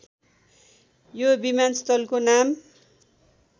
यो विमानस्थलको नाम